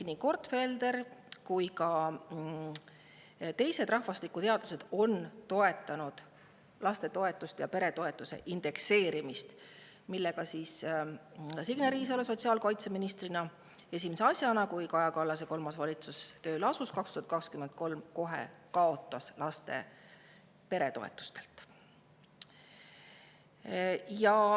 " Nii Gortfelder kui ka teised rahvastikuteadlased on toetanud lapsetoetuse ja peretoetuste indekseerimist, mille sotsiaalkaitseminister Signe Riisalo esimese asjana 2023. aastal, kui Kaja Kallase kolmas valitsus tööle asus, kohe ära kaotas.